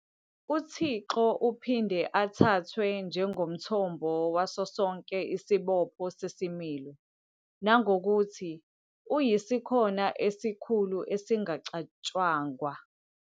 UThixo uphinde athathwe njengomthombo waso sonke isibopho sesimilo, nangokuthi "uyisikhona esikhulu esingacatshangwa".